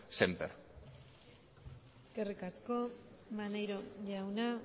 sémper eskerrik asko maneiro jauna